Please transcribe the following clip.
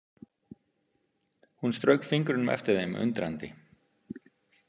Hún strauk fingrunum eftir þeim undrandi.